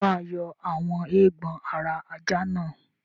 Ṣé o máa yọ àwọn eégbọn ara ajá náà?